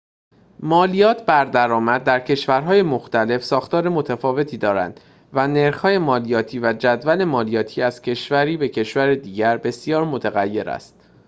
مالیات بر درآمد در کشورهای مختلف ساختار متفاوتی دارد و نرخ‌های مالیاتی و جدول مالیاتی از کشوری به کشور دیگر بسیار متغیر است